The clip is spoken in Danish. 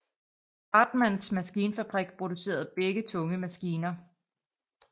Hartmanns Maskinfabrik producerede begge tunge maskiner